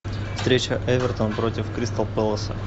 встреча эвертон против кристал пэласа